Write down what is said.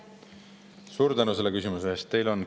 Suur tänu selle küsimuse eest!